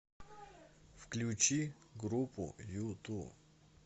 включи группу юту